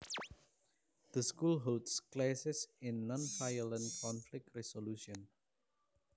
The school holds classes in nonviolent conflict resolution